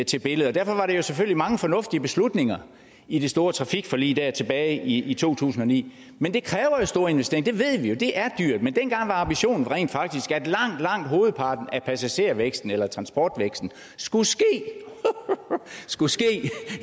til billedet derfor var der selvfølgelig mange fornuftige beslutninger i det store trafikforlig der tilbage i to tusind og ni men det kræver store investeringer det ved vi jo det er dyrt men dengang var ambitionen rent faktisk at langt langt hovedparten af passagervæksten eller transportvæksten skulle ske skulle ske